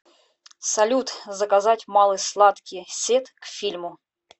салют заказать малый сладкий сет к фильму